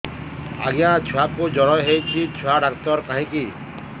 ଆଜ୍ଞା ଛୁଆକୁ ଜର ହେଇଚି ଛୁଆ ଡାକ୍ତର କାହିଁ କି